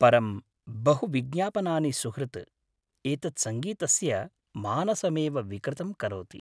परं बहुविज्ञापनानि सुहृत्, एतत् संगीतस्य मानसमेव विकृतं करोति।